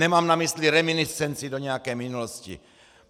Nemám na mysli reminiscenci do nějaké minulosti!